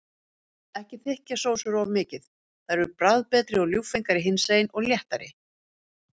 Ekki þykkja sósur of mikið, þær eru bragðbetri og ljúffengari hinsegin og léttari.